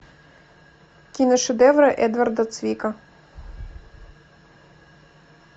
киношедевры эдварда цвика